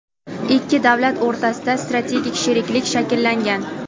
Ikki davlat o‘rtasida strategik sheriklik shakllangan.